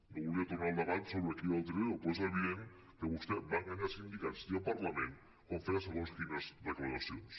no volia tornar al debat sobre qui era el trilero però és evident que vostè va enganyar sindicats i el parlament quan feia segons quines declaracions